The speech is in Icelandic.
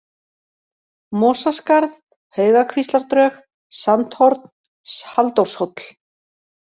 Mosaskarð, Haugakvíslardrög, Sandhorn, Halldórshóll